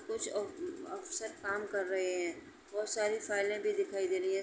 कुछ अ अफसर काम कर रहे हैं। बहुत सारी फाइले भी दिखाई दे रही हैं।